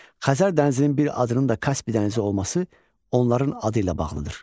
Xəzər dənizinin bir adının da Kaspilər dənizi olması onların adı ilə bağlıdır.